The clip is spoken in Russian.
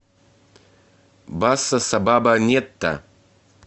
басса сабаба нетта